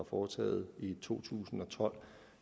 foretaget i to tusind og tolv